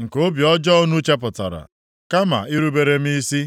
nke obi ọjọọ unu chepụtara, kama irubere m isi.